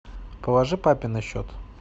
положи папе на счет